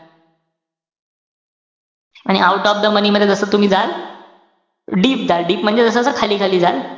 आणि out of the money मध्ये जस तुम्ही जाल, deep जाल, deep म्हणजे जस-जस खाली जाल,